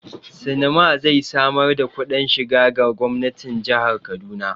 Sinima zai samar da kudin shiga ga gwamnatin jihar Kaduna.